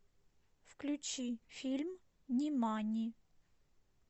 включи фильм нимани